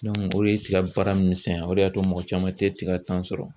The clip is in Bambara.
o de ye tigɛ baara misɛnya o de y'a to mɔgɔ caman tɛ tiga sɔrɔ